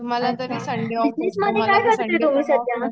अच्छा बिजनेसमध्ये काय तुम्ही सध्या?